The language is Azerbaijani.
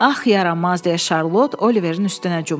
Ax yaramaz deyə Şarlot Oliverin üstünə cumdu.